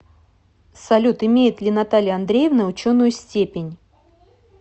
салют имеет ли наталья андреевна ученую степень